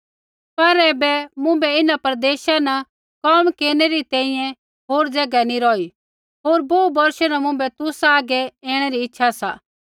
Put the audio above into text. पर ऐबै मुँभै इन्हां प्रदेशा न कोम केरनै री तैंईंयैं होर ज़ैगा नैंई रौही होर बोहू बोर्षा न मुँभै तुसा आगै ऐणै री इच्छा सा